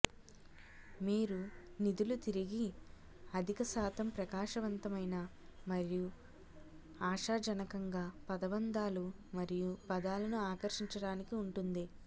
మీరు నిధులు తిరిగి అధిక శాతం ప్రకాశవంతమైన మరియు ఆశాజనకంగా పదబంధాలు మరియు పదాలను ఆకర్షించడానికి ఉంటుంది